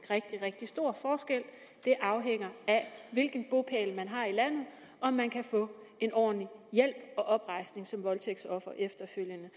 rigtig rigtig stor forskel det afhænger af hvilken bopæl man har i landet om man kan få en ordentlig hjælp og oprejsning som voldtægtsoffer efterfølgende